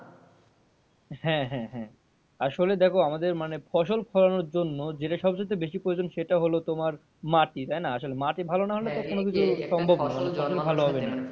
হ্যাঁ হ্যাঁ হ্যাঁ আসলে দেখো আমাদের মানে ফসল ফলানোর জন্য যেটা সবচাইতে বেশি প্রয়োজন সেটা হলো তোমার মাটি তাইনা আসলে মাটি ভালো না হলে তো কোনোকিছু সম্ভব না কোনো কিছুই ভালো হবে না।